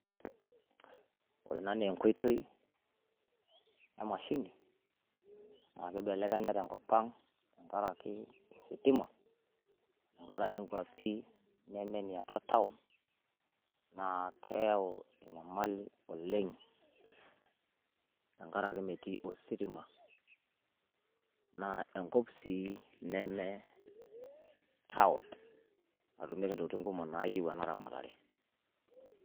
ore ena naa eenkoitoi emashini naa kibelekenya tenkop ang tenkaraki ositima, tenkaraki inkuapi naamanya atua taon, naa keyau enyamali oleng'.tenkaraki metii ositima, naa enkop sii neme taon, nemeeta ntokitin kumok naayieu ena ramatare.